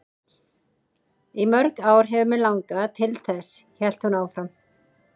Í mörg ár hefur mig langað til þess, hélt hún áfram.